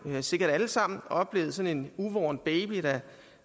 jo sikkert alle sammen oplevet sådan en uvorn baby der